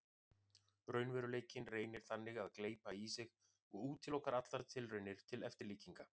Raunveruleikinn reynir þannig að gleypa í sig og útiloka allar tilraunir til eftirlíkinga.